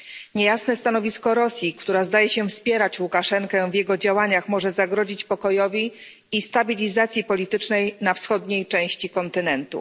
Niejasne stanowisko Rosji, która zdaje się wspierać Łukaszenkę w jego działaniach, może zagrozić pokojowi i stabilizacji politycznej we wschodniej części kontynentu.